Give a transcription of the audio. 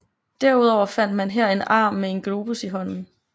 Derudover fandt man her en arm med en globus i hånden